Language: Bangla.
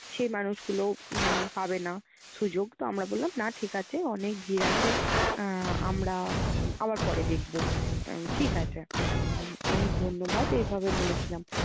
সেই মানুষগুলো উম পাবে না সুযোগ। তো আমরা বললাম না ঠিক আছে অনেক ভিড় আছে। আহ আমরা উম আবার পরে দেখবো। আহ ঠিক আছে হম অনেক ধন্যবাদ এইভাবে বলেছিলাম।